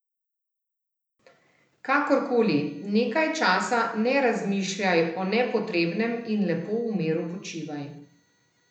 Kakor koli, nekaj časa ne razmišljaj o nepotrebnem in lepo v miru počivaj.